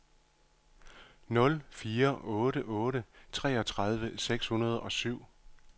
nul fire otte otte syvogtredive seks hundrede og syv